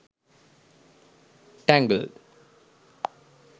tangled